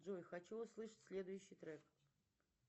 джой хочу услышать следующий трек